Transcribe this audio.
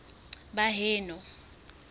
baheno